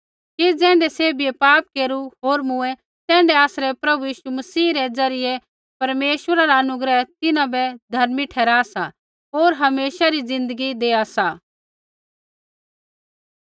कि ज़ैण्ढै सैभियै पाप केरू होर मूँऐं तैण्ढै ही आसरै प्रभु यीशु मसीह रै ज़रियै परमेश्वरा रा अनुग्रह तिन्हां बै धर्मी ठहरा सा होर हमेशा री ज़िन्दगी देआ सा